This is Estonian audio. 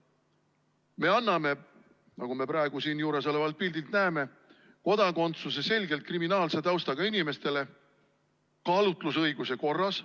Me anname, nagu me praegu siin juuresolevalt pildilt näeme, kodakondsuse selgelt kriminaalse taustaga inimestele kaalutlusõiguse korras.